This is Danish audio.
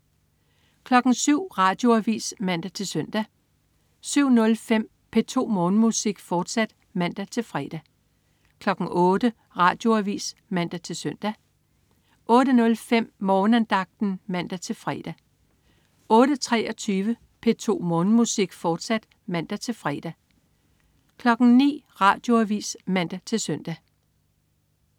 07.00 Radioavis (man-søn) 07.05 P2 Morgenmusik, fortsat (man-fre) 08.00 Radioavis (man-søn) 08.05 Morgenandagten (man-fre) 08.23 P2 Morgenmusik, fortsat (man-fre) 09.00 Radioavis (man-søn)